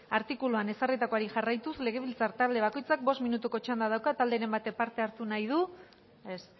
artikuluan ezarritakoari jarraituz legebiltzar talde bakoitzak bost minutuko txanda dauka talderen batek parte hartu nahi du ez